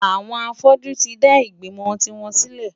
Àwọn afọ́jú tí dá ìgbìmò tiwọn sílẹ̀.